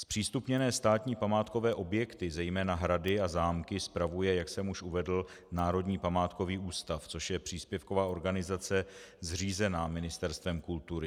Zpřístupněné státní památkové objekty, zejména hrady a zámky, spravuje, jak jsem už uvedl, Národní památkový ústav, což je příspěvková organizace zřízená Ministerstvem kultury.